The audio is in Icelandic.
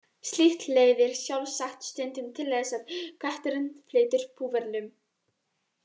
Slíkt leiðir sjálfsagt stundum til þess að kötturinn flytur búferlum.